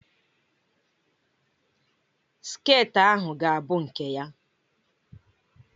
Sket ahụ ga-abụ nke ya!